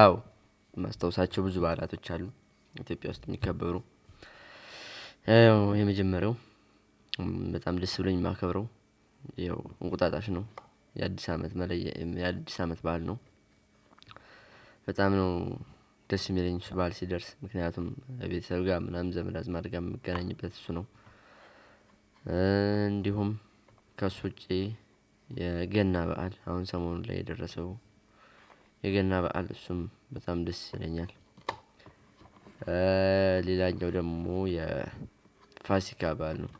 አዎ ማስታውሳቸው ብዙ በዓላቶች አሉ ኢትዮጵያ ውስጥ የሚከበሩ ይኸው የመጀመሪያው በጣም ደስ ብሎኝ የማከብረው ያው እንቁጣጣሽ ነው። የአዲስ አመት የአዲስ አመት ባል ነው። በጣም ነው ደስ የሚለኝ እሱ በዓል ሲደርስ ምክንያቱም ቤተሰብ ጋር ምናምን ዘመድ አዝማድ ጋር የምገናኝበት እሱ ነው። እንዲሁም ከእሱ ውጪ የገና በዓል አሁን ሰሞኑን ላይ የደረሰው የገና በዓል እሱም በጣም ደስ ይለኛል። ሌላኛው ደግሞ የፋሲካ በዓል ነው።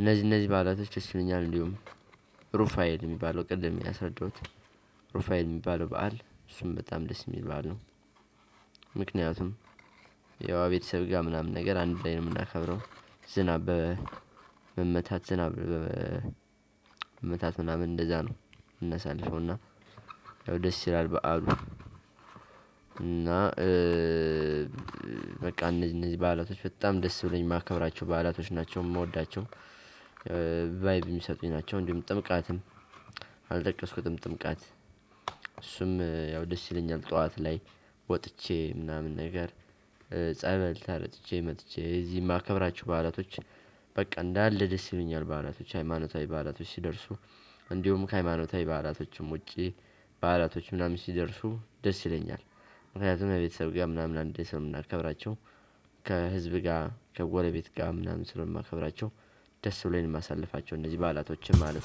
እነዚህ እነዚህ ባላቶች ደስ ይሉኛል እንዲሁም ሩፋኤል የሚባለው ቅድም ያስረዳሁት ሩፋኤል የሚባለው በዓል እሱም በጣም ደስ የሚል በዓል ነው። ምክንያቱም ያው ከቤተሰብ ጋር ምናምን ነገር አንድ ላይ ነው የምናከብረው ዝናብ በመመታት ዝናብ መመታት ምናምን እንደዛ ነው። ምናሳልፈውና ደስ ይላል በዓሉ። እና በቃ እነዚህ በዓላቶች በጣም ደስ ብሎኝ የማከብራቸው በዓላቶች ናቸው የምወዳቸው። ቫይብ የሚሰጡኝ ናቸው። እንዲሁም ጥምቀትም አልጠቀስኩትም ጥምቀት እሱም ያው ደስ ይለኛል። ጠዋት ላይ ወጥቼ ምናምን ነገር ጸበል ተረጭቼ መጥቼ እዚህም ማከብራቸው በዓላቶች በቃ እንዳለ ደስ ይሉኛል። በዓላቶች ሃይማኖታዊ በዓላቶች ሲደርሱ እንዲሁም ከሃይማኖታዊ በአላቶችም ውጪ በዓላቶች ምናምን ሲደርሱ ደስ ይለኛል። ምክንያቱም ቤተሰብ ጋር ምናምን አንድ ላይ ስለምናከብራቸው ከህዝብ ጋር ከጎረቤት ጋር ምናምን ስለማከብራቸው ደስ ብሎኝ ማሳለፋቸው እንደዚህ በዓላቶችም አሉ።